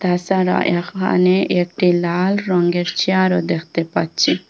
এছাড়াও এখানে একটি লাল রঙ্গের চেয়ারও দেখতে পাচ্চি।